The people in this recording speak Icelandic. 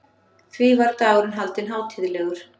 Því var dagurinn haldinn hátíðlegur.